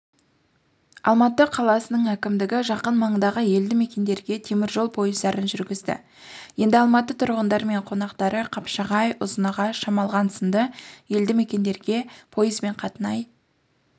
алматы қаласының әкімдігі жақын маңдағы елдімекендерге темір жол пойыздарын жүргізді енді алматы тұрғындары мен қонақтары қапшағай ұзынағаш шамалған сынды елдімекендергепойызбен қатынай